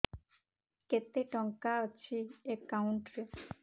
କେତେ ଟଙ୍କା ଅଛି ଏକାଉଣ୍ଟ୍ ରେ